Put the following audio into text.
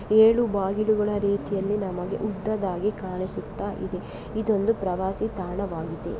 ಏಳು ಬಾಗಿಲುಗಳ ರೀತಿಯಲ್ಲಿ ನಮಗೆ ಉದ್ದದಾಗಿ ಕಾಣಿಸುತ್ತ ಇದೆ ಇದೊಂದು ಪ್ರವಾಸಿ ಕಾಣವಾಗಿದೆ.